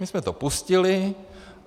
My jsme to pustili.